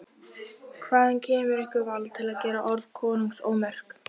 Hvaðan kemur ykkur vald til að gera orð konungs ómerk?